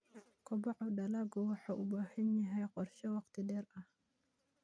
Kobaca dalaggu wuxuu u baahan yahay qorshe wakhti dheer ah.